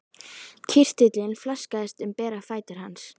Kirtillinn flaksaðist um bera fætur hans.